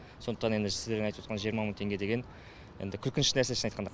сондықтан енді сіздердің айтып отқан жиырма мың деген енді күлкінішті нәрсе шынын айтқанда